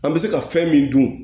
An bɛ se ka fɛn min dun